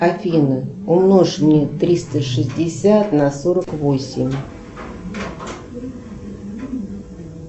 афина умножь мне триста шестьдесят на сорок восемь